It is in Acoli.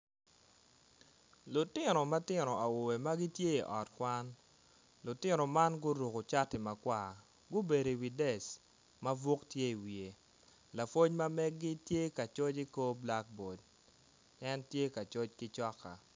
Lutino matino awobe ma gitye i ot kwan lutino man guruko cati makwar gubedo iwi dec ma buk tye iwiye lapwony ma megi tye ka coc kor black bord en tye ka coc ki coka.